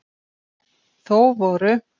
Þó voru